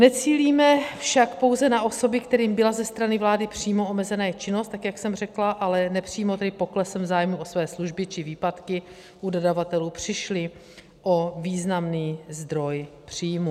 Necílíme však pouze na osoby, kterým byla ze strany vlády přímo omezena jejich činnost, tak jak jsem řekla, ale nepřímo, tedy poklesem zájmu o své služby či výpadky u dodavatelů přišly o významný zdroj příjmů.